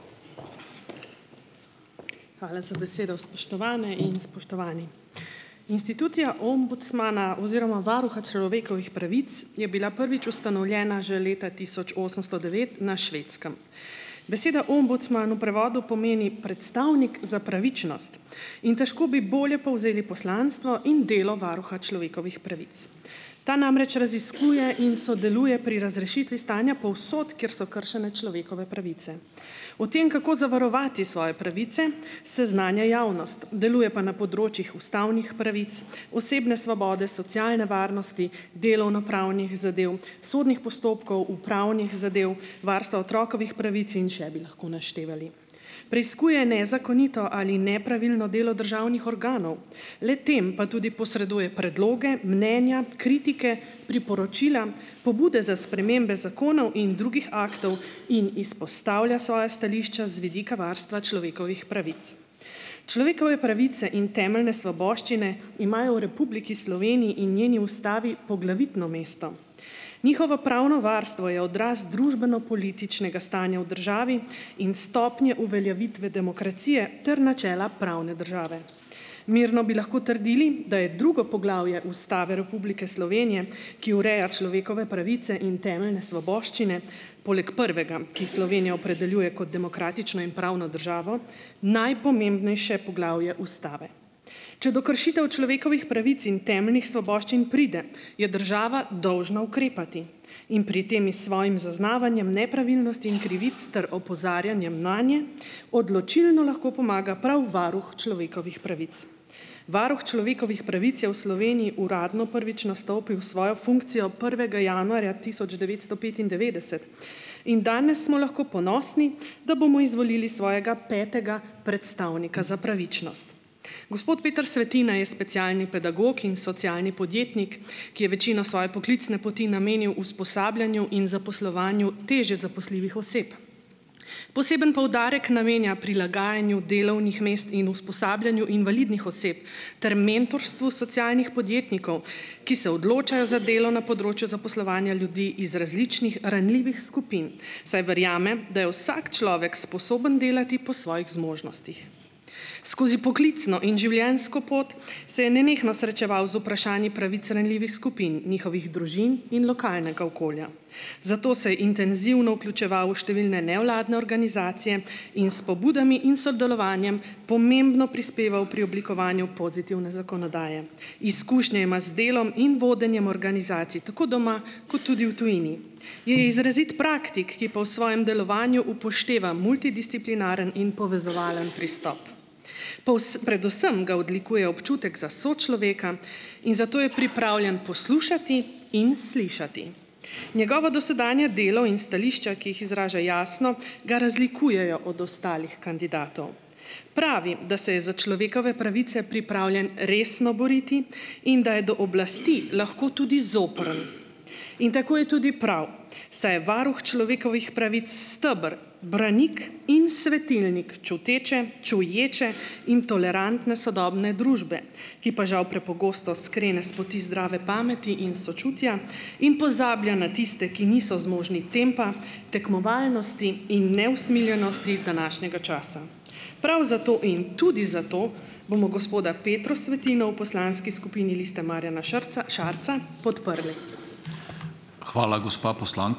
Hvala za besedo. Spoštovane in spoštovani! Institucija ombudsmana oziroma varuha človekovih pravic je bila prvič ustanovljena že leta tisoč osemsto devet na Švedskem. Beseda ombudsman v prevodu pomeni predstavnik za pravičnost in težko bi bolje povzeli poslanstvo in delo varuha človekovih pravic. Ta namreč raziskuje in sodeluje pri razrešitvi stanja povsod, kjer so kršene človekove pravice. O tem, kako zavarovati svoje pravice, seznanja javnost, deluje pa na področjih ustavnih pravic, osebne svobode, socialne varnosti, delovnopravnih zadev, sodnih postopkov, upravnih zadev, varstva otrokovih pravic in še bi lahko naštevali. Preiskuje nezakonito ali nepravilno delo državnih organov, le-tem pa tudi posreduje predloge, mnenja, kritike, priporočila, pobude za spremembe zakonov in drugih aktov in izpostavlja svoja stališča z vidika varstva človekovih pravic. Človekove pravice in temeljne svoboščine imajo v Republiki Sloveniji in njeni ustavi poglavitno mesto. Njihovo pravno varstvo je odraz družbeno-političnega stanja v državi in stopnje uveljavitve demokracije ter načela pravne države. Mirno bi lahko trdili, da je drugo poglavje Ustave Republike Slovenije, ki ureja človekove pravice in temeljne svoboščine, poleg prvega, ki Slovenijo opredeljuje kot demokratično in pravno državo, najpomembnejše poglavje ustave. Če do kršitev človekovih pravic in temeljnih svoboščin pride, je država dolžna ukrepati in pri tem s svojim zaznavanjem nepravilnosti in krivic ter opozarjanjem nanje odločilno lahko pomaga prav varuh človekovih pravic. Varuh človekovih pravic je v Sloveniji uradno prvič nastopil svojo funkcijo prvega januarja tisoč devetsto petindevetdeset in danes smo lahko ponosni, da bomo izvolili svojega petega predstavnika za pravičnost. Gospod Peter Svetina je specialni pedagog in socialni podjetnik, ki je večino svoje poklicne poti namenil usposabljanju in zaposlovanju težje zaposljivih oseb. Poseben poudarek namenja prilagajanju delovnih mest in usposabljanju invalidnih oseb ter mentorstvu socialnih podjetnikov, ki se odločajo za delo na področju zaposlovanja ljudi iz različnih ranljivih skupin, saj verjame, da je vsak človek sposoben delati po svojih zmožnostih. Skozi poklicno in življenjsko pot se je nenehno srečeval z vprašanji pravic ranljivih skupin, njihovih družin in lokalnega okolja, zate se je intenzivno vključeval v številne nevladne organizacije in s pobudami in sodelovanjem pomembno prispeval pri oblikovanju pozitivne zakonodaje. Izkušnje ima z delom in vodenjem organizacij tako doma kot tudi v tujini. Je izrazit praktik, ki pol svojem delovanju upošteva multidisciplinarni in povezovalni pristop. Predvsem ga odlikuje občutek za sočloveka in zato je pripravljen poslušati in slišati. Njegovo dosedanje delo in stališča, ki jih izraža jasno, ga razlikujejo od ostalih kandidatov. Pravi, da se je za človekove pravice pripravljen resno boriti in da je do oblasti lahko tudi zoprn, in tako je tudi prav, saj je varuh človekovih pravic steber, branik in svetilnik čuteče, čuječe in tolerantne sodobne družbe, ki pa žal prepogosto skrene s poti zdrave pameti in sočutja in pozablja na tiste, ki niso zmožni tempa, tekmovalnosti in neusmiljenosti današnjega časa. Prav zato in tudi zato bomo gospoda Petro Svetino v poslanski skupini Liste Marjana Šarca podprli.